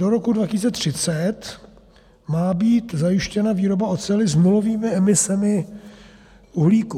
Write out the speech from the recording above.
Do roku 2030 má být zajištěna výroba oceli s nulovými emisemi uhlíku.